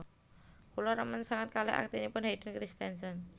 Kula remen sanget kalih aktingipun Hayden Christensen